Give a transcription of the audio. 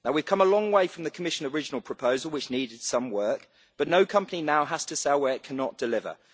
We have come a long way from the Commission's original proposal, which needed some work, but no company now has to sell where it cannot deliver.